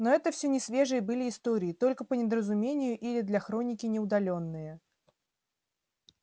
но это все несвежие были истории только по недоразумению или для хроники не удалённые